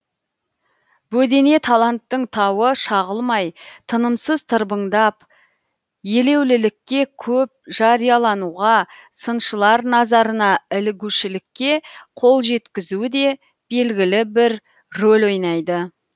бөдене таланттың тауы шағылмай тынымсыз тырбаңдап елеулілікке көп жариялануға сыншылар назарына ілігушілікке қол жеткізуі де белгілі бір рөл ойнайды